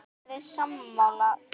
Eruð þið sammála því?